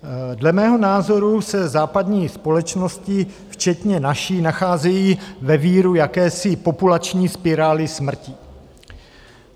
Dle mého názoru se západní společnosti, včetně naší, nacházejí ve víru jakési populační spirály smrti.